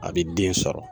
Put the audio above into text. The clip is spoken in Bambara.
A bɛ den sɔrɔ